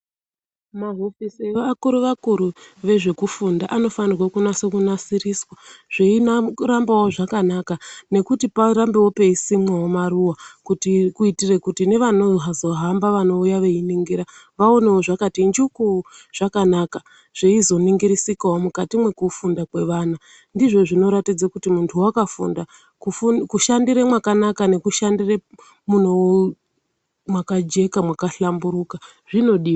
Mahofisi evakuru vakuru vezvekufunda anofanire kunasiriswa zveirambawo zvakanaka nekuti parambewo peisimwa maruwa kuitire kuti nevazohamba vanouya veiningira vaone zvakati njuku zvakanaka zveizoningirisikawo mukati mwekufunda kwevana ndizvo zvinoratidze kuti muntu wakafunda kushandiire mwakanaka nekushandire mwakajeka, mwakahlamburuka zvinodiwa yaamho.